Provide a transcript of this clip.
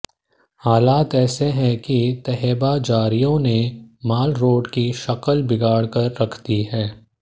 हालात ऐसे हैं कि तहबाजारियों ने मालरोड की शक्ल बिगाड़ कर रख दी है